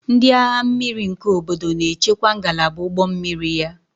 Ndị agha mmiri nke obodo na-echekwaba ngalaba ụgbọ mmiri ya